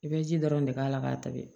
I bɛ ji dɔrɔn de k'a la k'a tabi